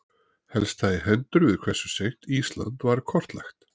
Helst það í hendur við hversu seint Ísland var kortlagt.